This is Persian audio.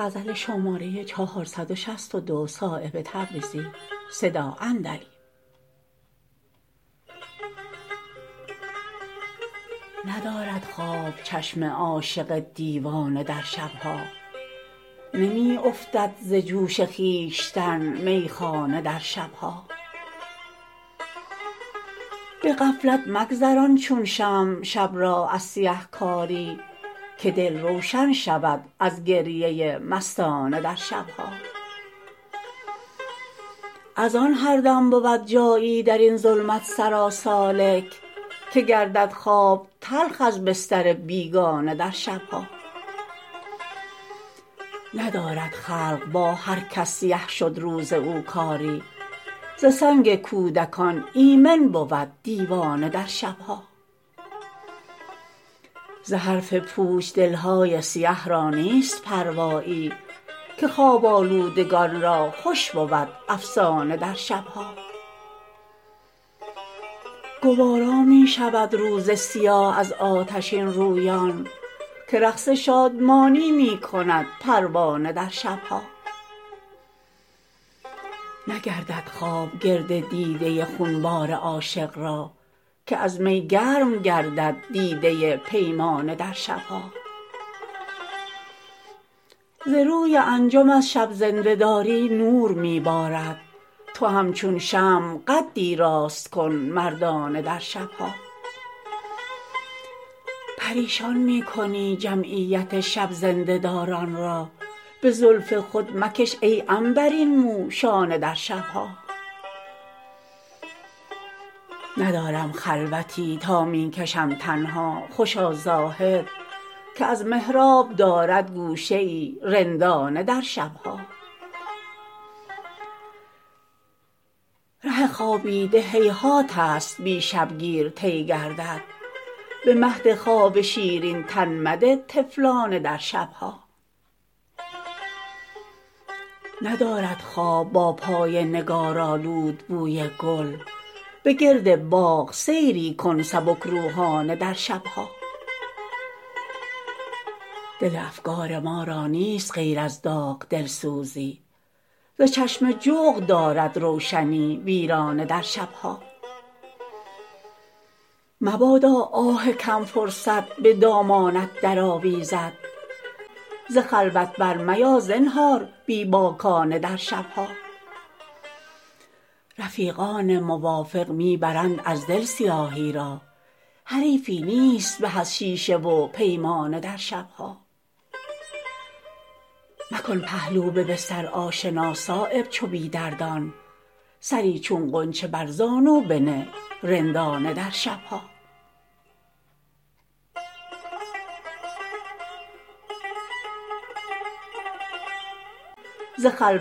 ندارد خواب چشم عاشق دیوانه در شب ها نمی افتد ز جوش خویشتن میخانه در شب ها به غفلت مگذران چون شمع شب را از سیه کاری که دل روشن شود از گریه مستانه در شب ها ازان هردم بود جایی درین ظلمت سرا سالک که گردد خواب تلخ از بستر بیگانه در شب ها ندارد خلق با هرکس سیه شد روز او کاری ز سنگ کودکان ایمن بود دیوانه در شب ها ز حرف پوچ دل های سیه را نیست پروایی که خواب آلودگان را خوش بود افسانه در شب ها گوارا می شود روز سیاه از آتشین رویان که رقص شادمانی می کند پروانه در شب ها نگردد خواب گرد دیده خونبار عاشق را که از می گرم گردد دیده پیمانه در شب ها ز روی انجم از شب زنده داری نور می بارد تو هم چون شمع قدی راست کن مردانه در شب ها پریشان می کنی جمعیت شب زنده داران را به زلف خود مکش ای عنبرین مو شانه در شب ها ندارم خلوتی تا می کشم تنها خوشا زاهد که از محراب دارد گوشه ای رندانه در شب ها ره خوابیده هیهات است بی شبگیر طی گردد به مهد خواب شیرین تن مده طفلانه در شب ها ندارد خواب با پای نگارآلود بوی گل به گرد باغ سیری کن سبک روحانه در شب ها دل افگار ما را نیست غیر از داغ دلسوزی ز چشم جغد دارد روشنی ویرانه در شب ها مبادا آه کم فرصت به دامانت درآویزد ز خلوت برمیا زنهار بی باکانه در شب ها رفیقان موافق می برند از دل سیاهی را حریفی نیست به از شیشه و پیمانه در شب ها مکن پهلو به بستر آشنا صایب چو بی دردان سری چون غنچه